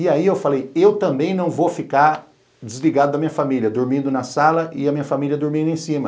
E aí eu falei, eu também não vou ficar desligado da minha família, dormindo na sala e a minha família dormindo em cima.